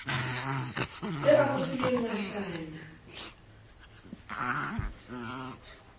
eo a mo fileng matlaya